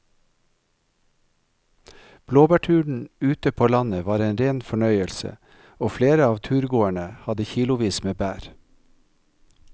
Blåbærturen ute på landet var en rein fornøyelse og flere av turgåerene hadde kilosvis med bær.